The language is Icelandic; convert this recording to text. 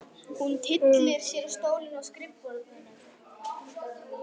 Hún tyllir sér á stólinn við skrifborðið.